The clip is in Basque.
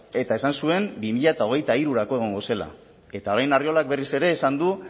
eta esan zuen bi mila hogeita hirurako egongo zela eta orain arriolak berriz ere esan du